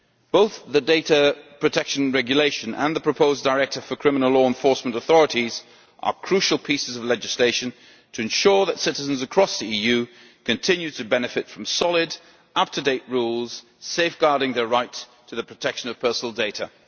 Both the Data Protection Regulation and the proposed directive for criminal law enforcement authorities are crucial pieces of legislation to ensure that citizens across the EU continue to benefit from solid, up to date rules safeguarding their right to the protection of personal data.